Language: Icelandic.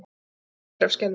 Og æpir af skelfingu.